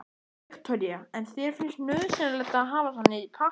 Viktoría: En þér finnst nauðsynlegt að hafa svona í pappír?